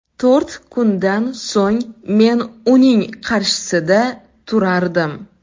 To‘rt kundan so‘ng men uning qarshisida turardim.